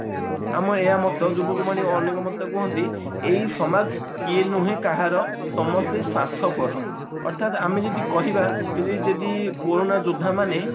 ଆମ ଏୟା ମତ କୁହନ୍ତି ଏଇ ସାମକ କେଏ ନୁହେ କାହାର ସମସ୍ତେ ସ୍ଵାର୍ଥପର ଅର୍ଥାତ ଆମେ ଯଦି କହିବା ଯଦି ଯଦି କୋରୋନା ଯୋଦ୍ଧା ମାନେ